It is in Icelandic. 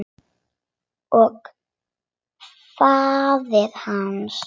Og faðir hans.